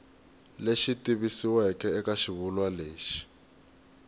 lexi tikisiweke eka xivulwa lexi